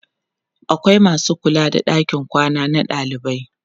akwai masu kula da ɗakin kwana na dalibai